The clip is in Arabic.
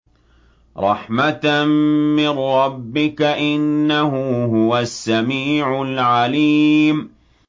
رَحْمَةً مِّن رَّبِّكَ ۚ إِنَّهُ هُوَ السَّمِيعُ الْعَلِيمُ